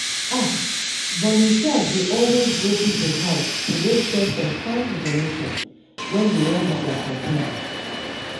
ah! volunteers dey always go people house to go share some kind information when dey wan do their campaigns.